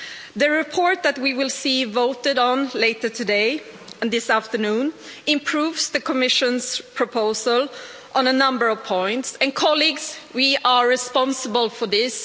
The report that we will see voted on this afternoon improves the Commission's proposal on a number of points and, colleagues, we are responsible for this